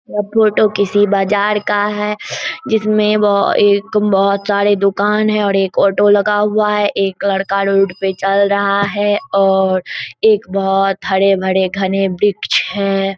यह फोटो किसी बाजार का है जिसमें वो एक बहुत सारे दुकान हैं और एक ऑटो लगा हुआ है एक लड़का रोड पर चल रहा है और एक बहुत हरे-भरे घनें वृक्ष हैं।